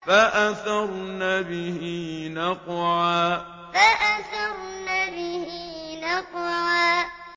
فَأَثَرْنَ بِهِ نَقْعًا فَأَثَرْنَ بِهِ نَقْعًا